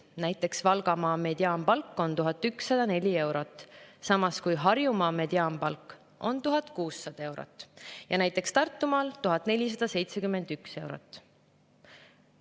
Näiteks Valgamaa mediaanpalk on 1104 eurot, samas kui Harjumaa mediaanpalk on 1600 eurot ja näiteks Tartumaal 1471 eurot.